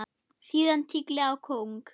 Síðan tígli á kóng.